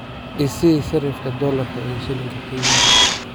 i sii sarifka dollarka iyo shilinka kenya